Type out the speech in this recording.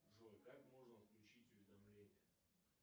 джой как можно отключить уведомления